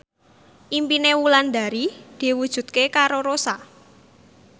impine Wulandari diwujudke karo Rossa